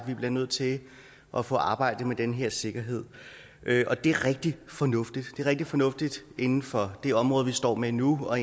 vi bliver nødt til at få arbejdet med den her sikkerhed det er rigtig fornuftigt det er rigtig fornuftigt at inden for det område vi står med nu og